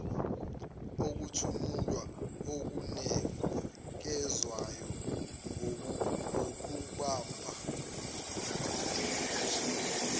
ukutomula okunikezwayo ngokubamba